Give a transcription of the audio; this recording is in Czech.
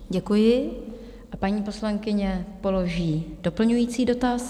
Děkuji a paní poslankyně položí doplňující dotaz.